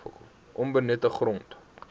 onbenutte grond